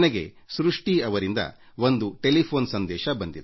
ಸೃಷ್ಟಿ ಎಂಬುವವರಿಂದ ಒಂದು ದೂರವಾಣಿ ಸಂದೇಶ ಬಂದಿದೆ